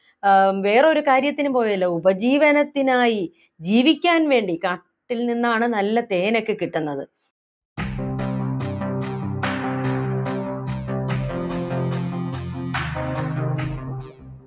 ആഹ് വേറൊരു കാര്യത്തിനും പോയതല്ല ഉപജീവനത്തിനായി ജീവിക്കാൻ വേണ്ടി കാട്ടിൽ നിന്നാണ് നല്ല തേനൊക്കെ കിട്ടുന്നത്